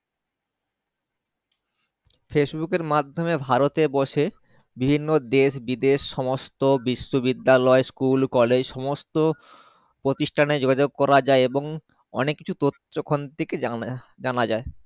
Facebook এর মাধ্যমে ভারত এ বসে বিভিন্ন দেশ বিদেশ সমস্ত বিশ্ব বিদ্যালয় School college সমস্ত প্রতিষ্টান এ যোগাযোগ করা যাই এবং অনেক কিছু তথ্য ওখান থেকে জানা যাই।